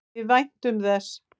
Við væntum þess.